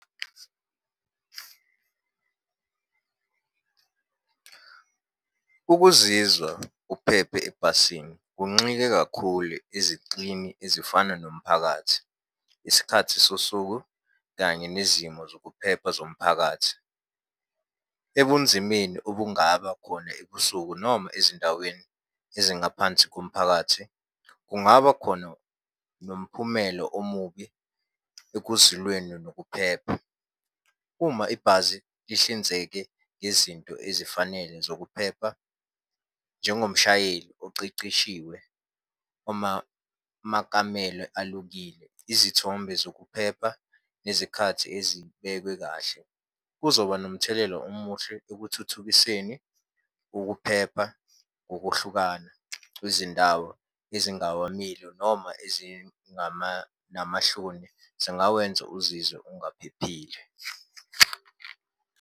Ukuzizwa uphephe ebhasini, kunxike kakhulu ezixini ezifana nomphakathi, isikhathi sosuku kanye nezimo zokuphepha zomphakathi. Ebunzimeni obungaba khona ebusuku noma ezindaweni ezingaphansi komphakathi, kungaba khona nomphumelo omubi ekuzilweni nokuphepha. Uma ibhasi lihlinzeke ngezinto ezifanele zokuphepha, njengomshayeli oceceshiwe, uma amakamelo alukile, izithombe zokuphepha nezikhathi ezibekwe kahle. Kuzoba nomthelela omuhle ekuthuthukiseni ukuphepha ngokuhlukana kwizindawo ezingawamile noma ezingama namahloni, zingawenza uzizwe ungaphephile.